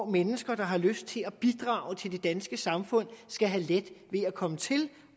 mennesker der har lyst til at bidrage til det danske samfund skal have let ved at komme til